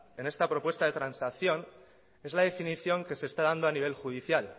en esta propuesta de transacción es la definición que se está dando a nivel judicial